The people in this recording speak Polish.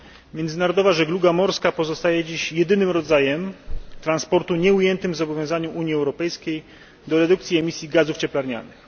Międzynarodowa żegluga morska pozostaje dziś jedynym rodzajem transportu nieujętym w zobowiązaniu Unii Europejskiej do redukcji emisji gazów cieplarnianych.